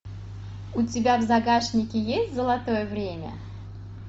у тебя в загашнике есть золотое время